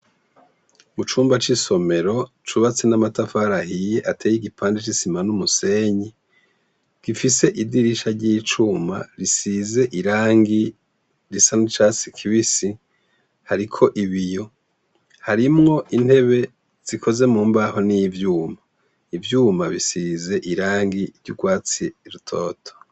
Mucumba cisomero cubatse namatafari ahiye ateye igipande cisima numusenyi gifise idirisha ryicuma risize irangi risa nicatsi kibisi hariko ibiyo harimwo intebe zikoze mumbaho nivyuma ivyuma bisize irangi ryurwatsi rutoto